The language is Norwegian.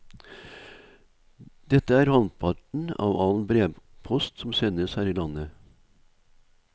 Dette er halvparten av all brevpost som sendes her i landet.